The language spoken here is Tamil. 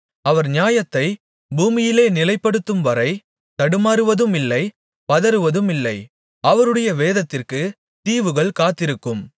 அவர் நியாயத்தைப் பூமியிலே நிலைப்படுத்தும்வரை தடுமாறுவதுமில்லை பதறுவதுமில்லை அவருடைய வேதத்திற்குத் தீவுகள் காத்திருக்கும்